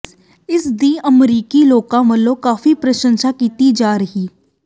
ਇਸ ਦੀ ਅਮਰੀਕੀ ਲੋਕਾਂ ਵੱਲੋਂ ਕਾਫੀ ਪ੍ਰਸ਼ੰਸਾ ਕੀਤੀ ਜਾ ਰਹੀ